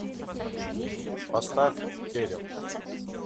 поставь керил